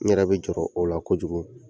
N yɛrɛ be jɔrɔ o la kojugu.